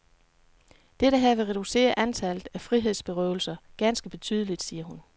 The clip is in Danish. Dette her vil reducere antallet af frihedsberøvelser ganske betydeligt, siger hun.